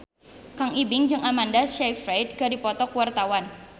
Kang Ibing jeung Amanda Sayfried keur dipoto ku wartawan